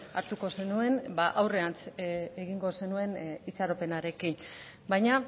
hartuko zenuen aurrean egingo zenuen itxaropenarekin baina